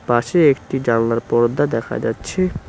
পাশে একটি জানলার পর্দা দেখা যাচ্ছে।